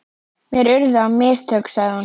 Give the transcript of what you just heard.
Mér urðu á mistök, sagði hún.